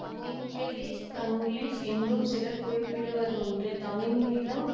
Taminglish Tanglish என்றும் சிலர் குறிப்பிடுவதுண்டு தமிங்கிலம்